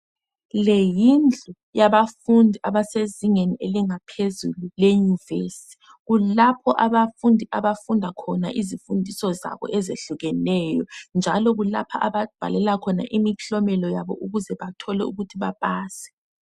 leyi yindlu yabafundi abase zingeni elingaphezulu le univesithi kulapho abafundi abafunda izifundiso zabo ezihlukeneyo njalo kulapho ababhalela khona imihlomelo yabo ukuthi bathole ukuthi bapase